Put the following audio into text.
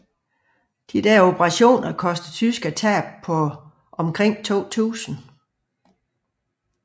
Disse operationer kostede tyskerne tab på omkring 2000